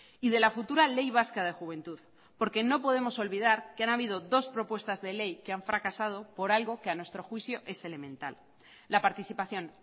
y de la futura ley vasca de juventud porque no podemos olvidar que han habido dos propuestas de ley que han fracasado por algo que a nuestro juicio es elemental la participación